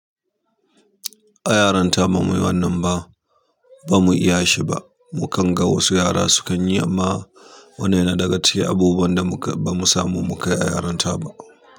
A yaran ta ba muyi wannan ba, ba mu iya shi ba. Mu kan ga wasu yara sukan yi amma wanene daga cikin abubuwan da ba mu samu mu kayi a yaran ta ba.